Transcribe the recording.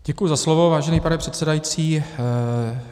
Děkuji za slovo, vážený pane předsedající.